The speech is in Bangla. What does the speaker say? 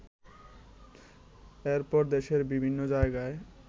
এরপর দেশের বিভিন্ন জায়গায়